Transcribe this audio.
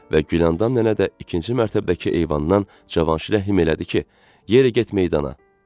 Və Güləndam nənə də ikinci mərtəbədəki eyvandan Cavanşirə əhim elədi ki, yerə get, meydana.